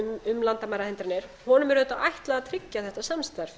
um landamærahindranir honum er auðvitað ætlað að tryggja þetta samstarf